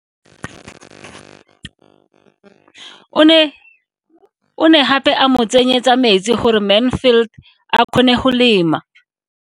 O ne gape a mo tsenyetsa metsi gore Mansfield a kgone go lema.